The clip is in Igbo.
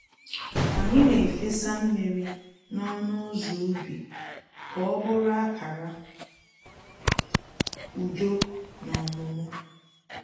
Anyị na-efesa mmiri n’ọnụ ụzọ ubi ka ọ bụrụ akara udo na ọmụmụ